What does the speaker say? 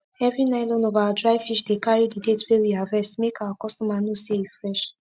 everi nylon of our dry fish dey carri the date wey we harvest make our customer know say e fresh